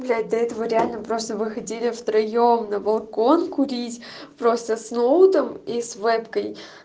блять до этого реально просто вы хотите втроём на балкон курить просто с ноутом и с вебкой